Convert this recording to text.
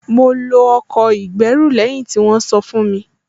Mo lo ọkọ̀ ìgbẹ́rù lẹ́yìn tí wọ́n sọ fún mi